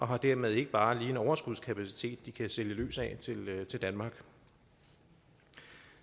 har dermed ikke bare lige en overskudskapacitet de kan sælge løs af til danmark